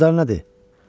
Ağızları nə deyir?